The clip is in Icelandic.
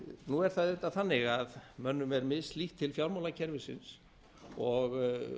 nú er það auðvitað þannig að mönnum er mishlýtt til fjármálakerfisins og